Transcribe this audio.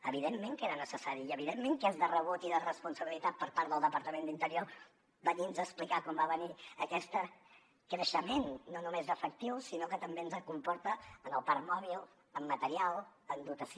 evidentment que era necessari i evidentment que és de rebut i de responsabilitat per part del departament d’interior venirnos a explicar quan va venir aquest creixement no només d’efectius sinó el que també ens comporta en el parc mòbil en material en dotació